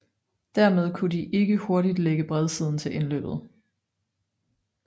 Dermed kunne de ikke hurtigt lægge bredsiden til indløbet